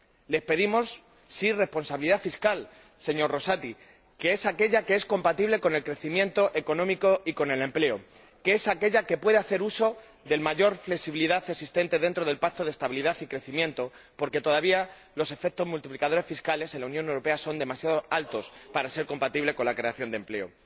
Les pedimos, sí, responsabilidad fiscal, señor Rosati, que es aquella que es compatible con el crecimiento económico y con el empleo, que es aquella que puede hacer uso de la mayor flexibilidad existente dentro del Pacto de Estabilidad y Crecimiento, porque todavía los efectos multiplicadores fiscales, en la Unión Europea, son demasiado altos para ser compatibles con la creación de empleo.